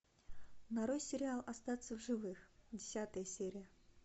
нарой сериал остаться в живых десятая серия